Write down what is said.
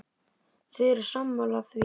Þeir eru sammála því.